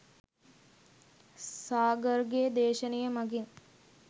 සාගර්ගේ දේශනය මගින්